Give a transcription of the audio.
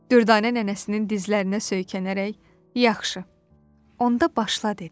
Düvdanə nənəsinin dizlərinə söykənərək, "Yaxşı. Onda başla", dedi.